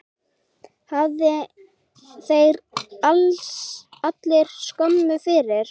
Hafi þeir allir skömm fyrir!